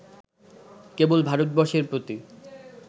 কেবল ভারতবর্ষের প্রতি